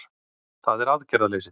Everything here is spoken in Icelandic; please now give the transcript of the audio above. Það er aðgerðaleysið